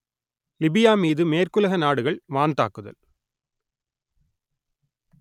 Libya மீது மேற்குலக நாடுகள் வான் தாக்குதல்